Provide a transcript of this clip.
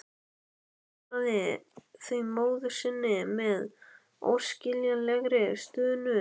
Hann svaraði því móður sinni með óskiljanlegri stunu.